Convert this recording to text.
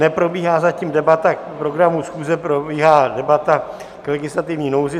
Neprobíhá zatím debata k programu schůze, probíhá debata k legislativní nouzi.